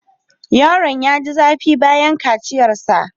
Yaron ya ji zafi bayan kaciyarsa.